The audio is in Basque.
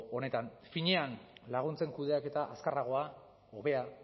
honetan finean laguntzen kudeaketa azkarragoa hobea